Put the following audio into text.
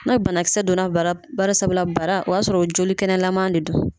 Na banakisɛ donna bara barisabula bara o y'a sɔrɔ jolikɛnɛlama de don.